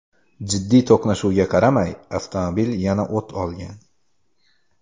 Jiddiy to‘qnashuvga qaramay, avtomobil yana o‘t olgan.